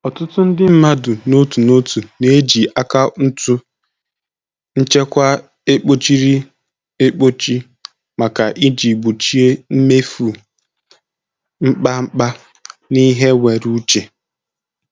Ọtụtụ ndị mmadụ n'otu n'otu na-eji akaụntụ nchekwa ekpochiri ekpochi maka iji gbochie imefu mkpamkpa na ihe nwere uche.